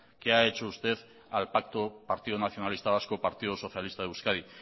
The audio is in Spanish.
que ha hecho usted al pacto partido nacionalista vasco partido socialista de euskadi